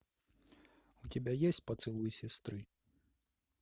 у тебя есть поцелуй сестры